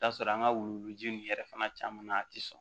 I bi t'a sɔrɔ an ka wuluji nin yɛrɛ fana caman na a tɛ sɔn